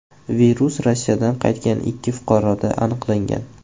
Virus Rossiyadan qaytgan ikki fuqaroda aniqlangan.